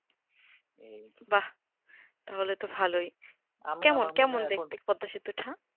হু বা তাহলে তো ভালোই আমি আমি এখন কেমন কেমন দেখতে পদ্দাসেতু টা